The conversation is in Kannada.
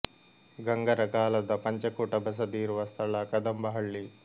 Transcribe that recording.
ಗಂಗರ ಕಾಲದ ಪಂಚಕೂಟ ಬಸದಿ ಇರುವ ಸ್ಥಳ ಕದಂಬ ಹಳ್ಳಿ